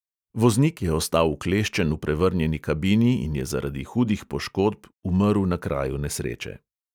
Voznik je ostal vkleščen v prevrnjeni kabini in je zaradi hudih poškodb umrl na kraju nesreče.